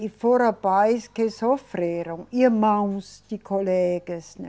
E foram pais que sofreram, irmãos de colegas, né?